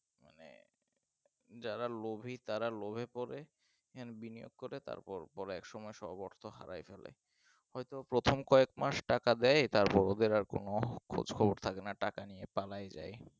যারা লোভী তারা লোভে পড়ে এখানে বিনিয়োগ করে তারপর পর এক সময় সব অর্থ হারায় ফেলে হয়তো প্রথম কয়েক মাস টাকা দেয় তারপর ওদের আর কোন খোঁজ খবর থাকে না টাকা নিয়ে পালাই যাই